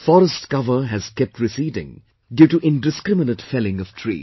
Forest cover has kept receding due to indiscriminate felling of trees